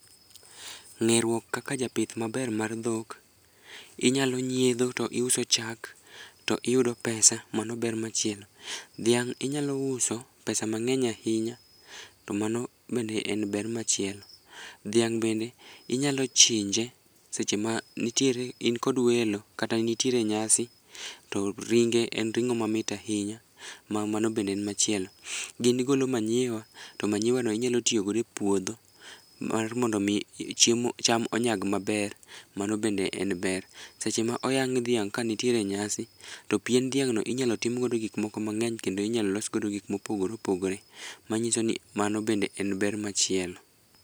ngeruok kaka japith maber mar dhok inyalo nyiedho to iuso chak to iyudo pesa mano ber machielo, dhiang inyalo uso pesa nageny ahinya to mano bende en ber machielo, dhing bende inyalo chinje e seche ma in kod welo to ringe en ringo mamit ahinya ma mano bende en machielo, gi golo manure to manure[cd] no inyalo tiyo godo e puodho mar mondo mi cham onyag maber mano bende en ber, seche ma oyang' dhiang ka nitiere nyasi to pien dhiang no inyalo tim go gik moko mang'eny kendo inyalo los godo gik mopogore opogore manyiso ni mano bende en ber machielo